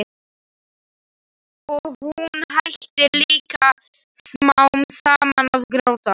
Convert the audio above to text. Og hún hættir líka smám saman að gráta.